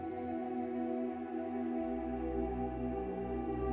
nú